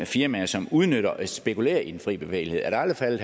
firmaer som udnytter det og spekulerer i den fri bevægelighed er det aldrig